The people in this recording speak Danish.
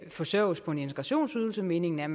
forsørges på en integrationsydelse meningen er